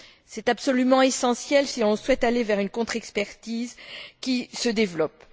C'est absolument essentiel si l'on souhaite aller vers une contre expertise qui se développe.